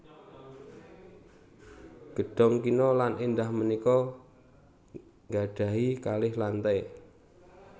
Gedhong kina lan èndah punika nggadhahi kalih lantai